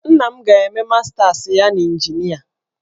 Nna m ga-eme mastas ya n'injinia.